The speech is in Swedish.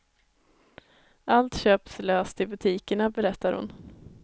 Allt köps löst i butikerna, berättar hon.